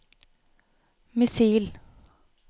missil